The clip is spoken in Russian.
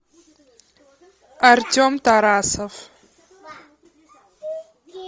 артем тарасов